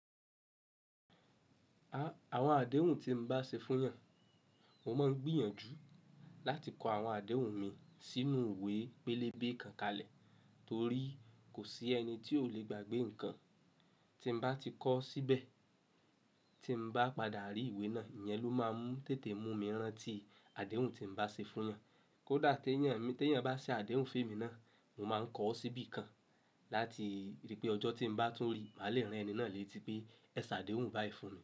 Àwọn àdéhùn tí n bá ṣe fún èèyàn, mo máa ń gbìyànjú láti kọ àwọn àdéhùn mi sínú ìwé pélébé kan kalẹ̀ torí kò sí ẹni tí ó le gbàgbé nǹkan, tí n bá ti kọ́ síbẹ̀. Tí n bá padà rí ìwé náà, ìyẹn ló máa ń tètè mú mi rántí àdéhùn tí n bá ṣe fún èèyàn. Kódà tí èèyàn bá ṣe àdéhùn fún èmi náà, mo máa ń kọ ọ́ síbí kan láti rí pé ọjọ́ tí n bá tún rí, màa le ran ẹni náà lè ti pé, "Ẹ ṣẹ àdéhùn báì funmi"